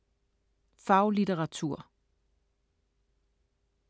Faglitteratur